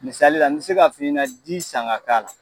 Misali la n bɛ se k'a f'i ɲɛna di san ka k'a la.